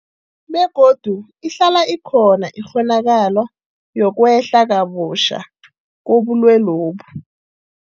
Begodu ihlala ikhona ikghonakalo yokwehla kabutjha kobulwelobu.